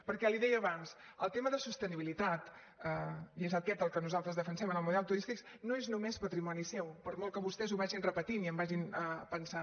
perquè li ho deia abans el tema de sostenibilitat i és aquest el que nosaltres defensem en el model turístic no és només patrimoni seu per molt que vostès ho vagin repetint i ho vagin pensant